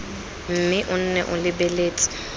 mme o nne o lebeletse